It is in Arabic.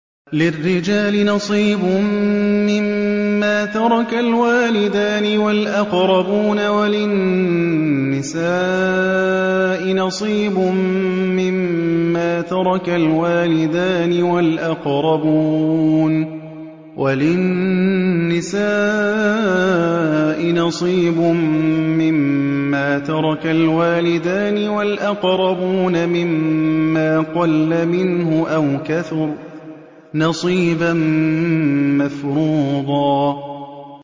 لِّلرِّجَالِ نَصِيبٌ مِّمَّا تَرَكَ الْوَالِدَانِ وَالْأَقْرَبُونَ وَلِلنِّسَاءِ نَصِيبٌ مِّمَّا تَرَكَ الْوَالِدَانِ وَالْأَقْرَبُونَ مِمَّا قَلَّ مِنْهُ أَوْ كَثُرَ ۚ نَصِيبًا مَّفْرُوضًا